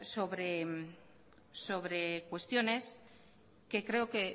sobre cuestiones que creo